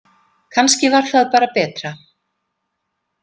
Kannski var það bara betra.